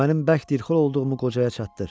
Mənim bərk dilxör olduğumu qocaya çatdır.